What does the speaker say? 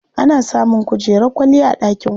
Ana samun kujerar kwalliya a ɗakin kwana.